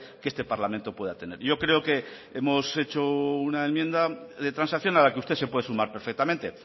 que este parlamento pueda tener yo creo que hemos hecho una enmienda de transacción a la que usted se puede sumar perfectamente